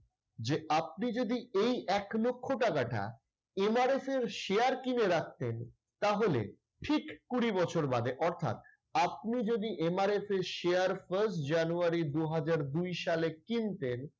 যে আপনি যদি এই এক লক্ষ টাকাটা MRS এর share কিনে রাখতেন তাহলে ঠিক কুড়ি বছর বাদে অর্থাৎ আপনি যদি MRS এর share first জানুয়ারি দুই হাজার দুই সালে কিনতেন